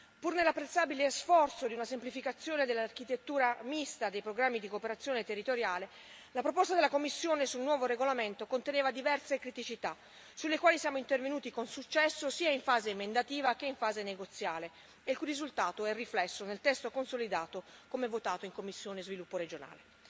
Pur nell'apprezzabile sforzo di una semplificazione dell'architettura mista dei programmi di cooperazione territoriale, la proposta della Commissione sul nuovo regolamento conteneva diverse criticità, sulle quali siamo intervenuti con successo, sia in fase emendativa che in fase negoziale, il cui risultato è riflesso nel testo consolidato come votato in commissione per lo sviluppo regionale.